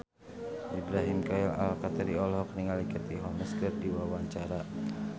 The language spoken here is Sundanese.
Ibrahim Khalil Alkatiri olohok ningali Katie Holmes keur diwawancara